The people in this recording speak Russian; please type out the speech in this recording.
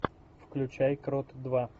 включай крот два